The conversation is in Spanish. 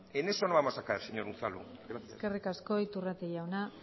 en eso no vamos a caer señor unzalu gracias eskerrik asko iturrate jauna